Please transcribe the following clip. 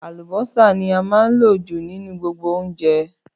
Àlùbọ́sà ní a máa ń lò jù nínú gbogbo oúnjẹ